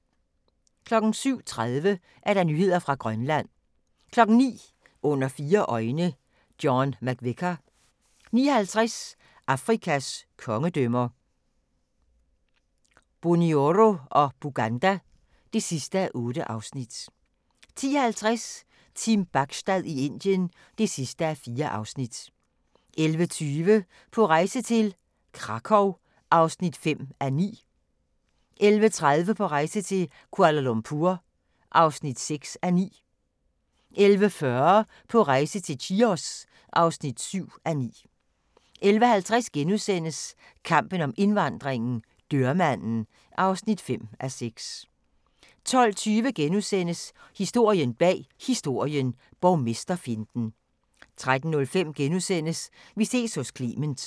07:30: Nyheder fra Grønland 09:00: Under fire øjne - John McVicar 09:50: Afrikas kongedømmer – Bunyoro og Buganda (8:8) 10:50: Team Bachstad i Indien (4:4) 11:20: På rejse til: Krakow (5:9) 11:30: På rejse til: Kuala Lumpur (6:9) 11:40: På rejse til: Chios (7:9) 11:50: Kampen om indvandringen - dørmanden (5:6)* 12:20: Historien bag Historien: Borgmesterfinten * 13:05: Vi ses hos Clement *